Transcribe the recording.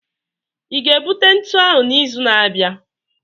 ị ga-ebute ntu ahu n'izu na-abịa?